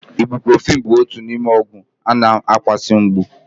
Ibụ́profị́n bụ otu n'ime ọgwụ na-akwụsị mgbu.